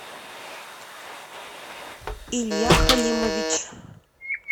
илья халимович